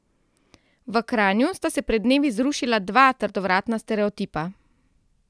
V Kranju sta se pred dnevi zrušila dva trdovratna stereotipa.